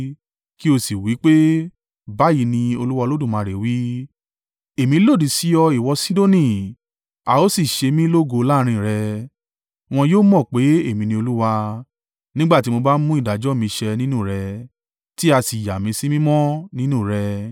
kí ó sì wí pé, ‘Báyìí ni Olúwa Olódùmarè wí: “ ‘Èmi lòdì sí ọ, ìwọ Sidoni, a ó sì ṣe mí lógo láàrín rẹ. Wọn yóò mọ̀ pé èmi ní Olúwa, nígbà tí mo bá mú ìdájọ́ mi ṣẹ nínú rẹ, tí a sì yá mí sí mímọ́ nínú rẹ.